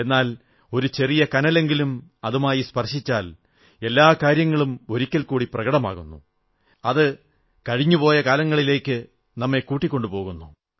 എന്നാൽ ഒരു ചെറിയ കനലെങ്കിലും അതുമായി സ്പർശിച്ചാൽ എല്ലാ കാര്യങ്ങളും ഒരിക്കൽ കൂടി പ്രകടമാകുന്നു അത് കഴിഞ്ഞു പോയ കാലങ്ങളിലേക്ക് കൂട്ടിക്കൊണ്ടുപോകുന്നു